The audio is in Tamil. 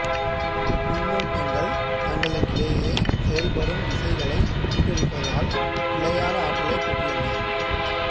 மின்னூட்டங்கள் தங்களுக்கிடையே செயல்படும் விசைகளை பெற்றிருப்பதால் நிலையான ஆற்றலைப் பெற்றுள்ளன